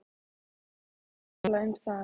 Við erum að tala um það!